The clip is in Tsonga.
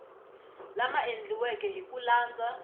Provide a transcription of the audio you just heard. lama endliweke hi ku landza